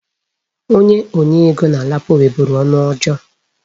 Onye nye ego na LAPO nweburu ọnụ ọjọọ.